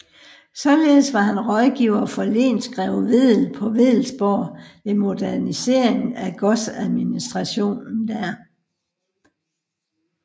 Således var han rådgiver for lensgreve Wedell på Wedellsborg ved modernisering af godsadministrationen der